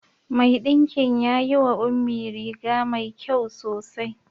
Mai ɗinkin ya yi wa Ummi riga mai kyau sosai.